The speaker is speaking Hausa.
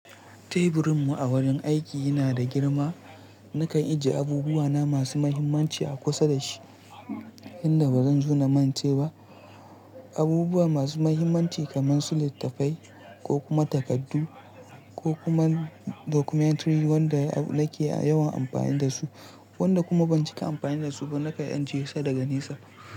Teburinmu a wurin aiki yana da girma. Nakan ajiye abubuwana masu mahimmanci a kusa da shi, inda ba zan zo na mance ba. Abubuwa masu mahimmanci kamar su littattafai ko kuma takardu ko kuma documentary wanda nake yawan amfani da su, wanda kuma ban cika amfani da su ba nakan ajiye sa daga nesa.